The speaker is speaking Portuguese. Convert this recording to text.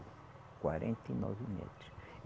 quarenta e nove metros.